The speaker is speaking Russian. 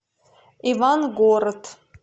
ивангород